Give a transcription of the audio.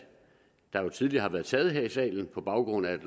der jo tidligere har været taget her i salen på baggrund af